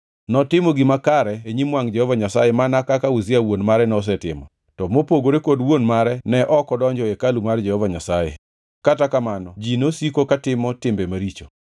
Notimo gima kare e nyim wangʼ Jehova Nyasaye mana kaka Uzia wuon mare nosetimo, to mopogore kod wuon mare ne ok odonjo e hekalu mar Jehova Nyasaye. Kata kamano ji nosiko katimo timbe maricho.